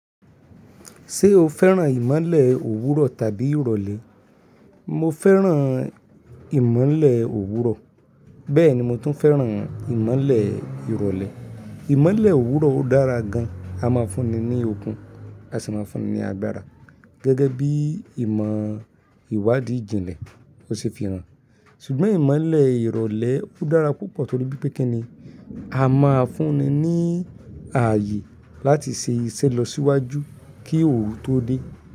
Ṣé o fẹ́ràn ìmọ́lẹ̀ òwúrọ̀ tàbí ìrọ̀lẹ́? Mo fẹ́ràn ìmọ́lẹ̀ òwúrọ̀, bẹ́ẹ̀ ni mo tún fẹ́ràn ìmọ́lẹ̀ ìrọ̀lẹ́. Ìmọ́lẹ̀ òwúrọ̀ dára gan, a máa fúnni ní okun, a sì máa fúnni ní agbára. Gẹ́gẹ́ bí ìmọ̀ ìwádìí ìjìnlẹ̀, ó ṣe é fi hàn. Ṣùgbọ́n ìmọ́lẹ̀ ìrọ̀lẹ́ dára púpọ̀ torí pé kíni, a máa fúnni ní ààyè láti ṣe iṣẹ́ lọ síwájú kí òru tó dé.